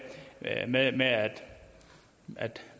at man at